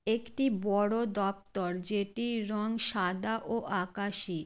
একটি বড়ো দপ্তর যেটির রং সাদা ও আকাশী।